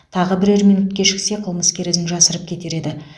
тағы бірер минут кешіксе қылмыскер ізін жасырып кетер еді